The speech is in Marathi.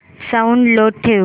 साऊंड लो ठेव